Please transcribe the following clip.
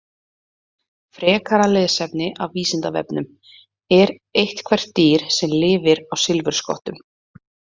Frekara lesefni af Vísindavefnum: Er eitthvert dýr sem lifir á silfurskottum?